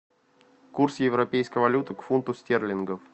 курс европейской валюты к фунту стерлингов